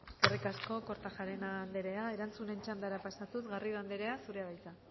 eskerrik asko kortajarena anderea erantzunen txandara pasatuz garrido anderea zurea da hitza